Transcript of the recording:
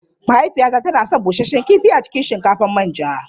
Mahaifiyata tana son busasshen kifi a cikin shinkafar manja.